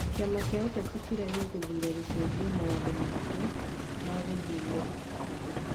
Kĩama kĩa ũteti kĩrĩa gĩgũthura gũcenjia mawatho makĩo ma gũthuura andũ,